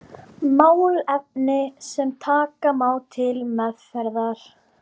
Málefni sem taka má til meðferðar.